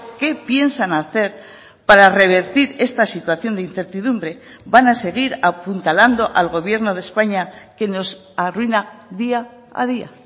qué piensan hacer para revertir esta situación de incertidumbre van a seguir apuntalando al gobierno de españa que nos arruina día a día